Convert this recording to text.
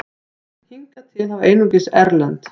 Hingað til hafa einungis erlend